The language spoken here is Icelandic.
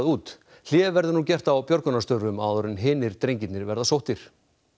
út hlé verður nú gert á björgunarstörfum áður en hinir drengirnir verða sóttir